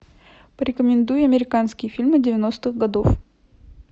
порекомендуй американские фильмы девяностых годов